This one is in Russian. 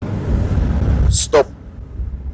стоп